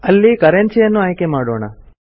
ಅಲ್ಲಿ ಕರನ್ಸಿಯನ್ನು ಆಯ್ಕೆ ಮಾಡೋಣ